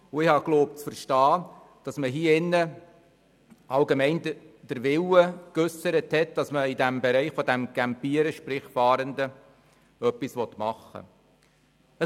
Ich glaube zu verstehen, dass allgemein der Wille geäussert wurde, dass man im Bereich der Campierenden – sprich: der Fahrenden – etwas unternehmen will.